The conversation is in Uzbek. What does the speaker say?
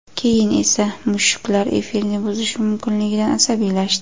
Keyin esa mushuklar efirni buzishi mumkinligidan asabiylashdi.